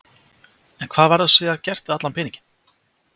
En hvað verður síðan gert við allan peninginn?